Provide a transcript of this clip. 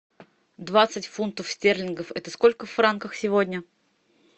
двадцать фунтов стерлингов это сколько в франках сегодня